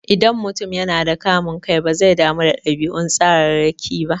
Idan mutum yana da kamun kai, bazai damu da ɗabi'un tsararraki ba.